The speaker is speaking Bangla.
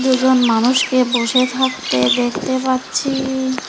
দুজন মানুষকে বসে থাকতে দেখতে পাচ্ছি।